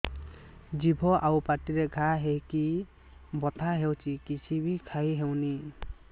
ଜିଭ ଆଉ ପାଟିରେ ଘା ହେଇକି ବଥା ହେଉଛି କିଛି ବି ଖାଇହଉନି